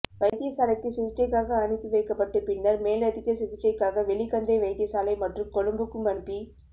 வைத்தியசாலைக்கு சிகிச்சைக்காக அனுப்பி வைக்கப்பட்டு பின்னர் மேலதிக சிகிச்சைக்காக வெலிகந்தை வைத்தியசாலை மற்றும் கொழும்புக்கும் அனுப்பி